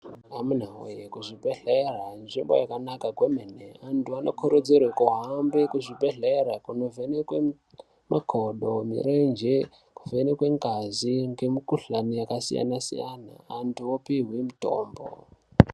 Amuna we kuzvibhedhlera nzvimbo yakanaka kwemene antu anokurudzirwa kuhambe kuzvibhedhlera kunovhenekwa makodo mirenje kuvhenekwa ngazi yakasiyana siyana antu opihwa mitombo.